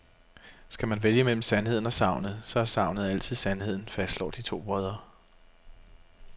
Skal man vælge mellem sandheden og sagnet, så er sagnet altid sandheden, fastslår de to brødre.